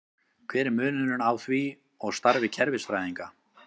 Hver er munurinn á því og starfi kerfisfræðinga?